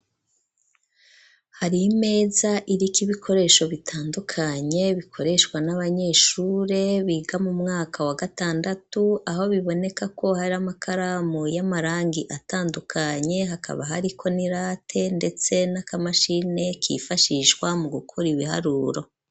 Hari imeza iriko ibikoresho bitandukanye bikoreshwa n'abanyeshure biga mu mwaka wa gatandatu aho biboneka ko hari amakaramu y'amarangi atandukanye hakaba hariko n'irate ndetse n'akamashine kifashishwa mu gukora ibiharuro.